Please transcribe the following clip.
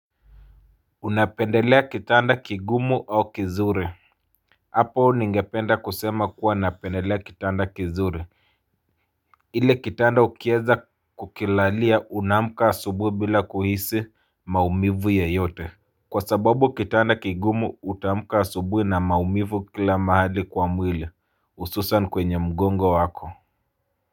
Unapendelea kitanda kigumu au kizuri. Hapo ningependa kusema kuwa napendelea kitanda kizuri ile kitanda ukieza kukilalia unaamka asubuhi bila kuhisi maumivu yoyote kwa sababu kitanda kigumu utaamka asubuhi na maumivu kila mahali kwa mwili hususan kwenye mgongo wako. Kwa hivyo.